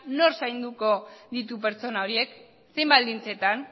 nor zainduko ditu pertsona horiek zein baldintzetan